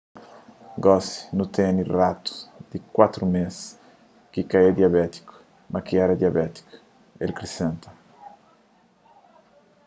gosi nu tene ratus di 4 mês ki ka é diabétiku ma ki éra diabétiku el krisenta